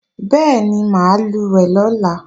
Bẹ́ẹ̀ni, mà á lùwẹ̀ lọ́la